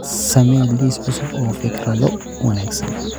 samee liis cusub oo fikrado wanaagsan